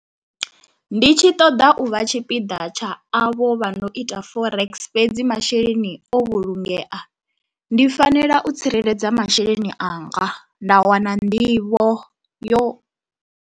Ndi tshi ṱoḓa u vha tshipiḓa tsha avho vha no ita Forex fhedzi masheleni o vhulungeya, ndi fanela u tsireledza masheleni anga nda wana nḓivho yo.